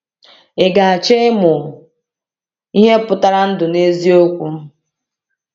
Ị ga-achọ ịmụ ihe pụtara ndụ n’eziokwu?